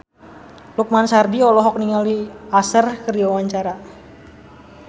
Lukman Sardi olohok ningali Usher keur diwawancara